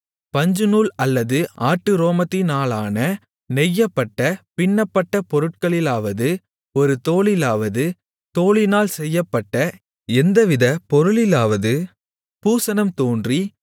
பஞ்சுநூல் அல்லது ஆட்டுரோமத்தினாலான நெய்யப்பட்ட பின்னப்பட்ட பொருட்களிலாவது ஒரு தோலிலாவது தோலினால் செய்யப்பட்ட எந்தவித பொருளிலாவது பூசணம் தோன்றி